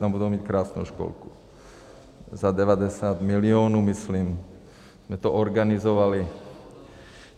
Tam budou mít krásnou školku za 90 milionů, myslím, jsme to organizovali.